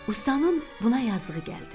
Ustanın buna yazığı gəldi.